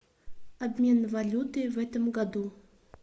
обмен валюты в этом году